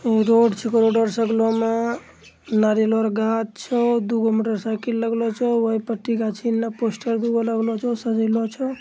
ई road छीको road के सामने में नारियल आर गाछ छो दुगो मोटर साइकिल लगलो छो ओही पटी गाछ इने पोस्टर दूगो लागलाे छो सजेलो छो।